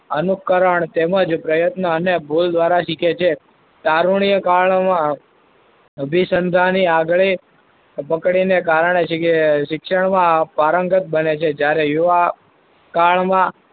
અનુકરણ તેમજ પ્રયત્ન અને ભૂલ દ્વારા શીખે છે. તારુણીય કારણોમાં વિસંધાને આગળ પકડીને કારણે શિ શિક્ષણમાં પારંગત બને છે. જ્યારે યુવા કાળમાં,